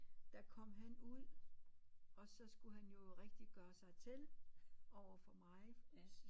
Der kom han ud og så skulle han jo rigtig gøre sig til overfor mig